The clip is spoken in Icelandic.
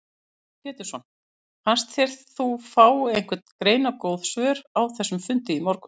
Heimir Már Pétursson: Fannst þér þú fá einhver greinargóð svör á þessum fundi í morgun?